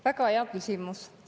Väga hea küsimus.